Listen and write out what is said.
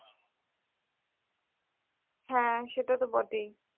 হ্যাঁ সেটা তো বটেই